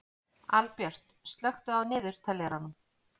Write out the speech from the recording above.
Albjört, slökktu á niðurteljaranum.